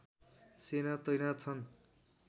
सेना तैनाथ छन्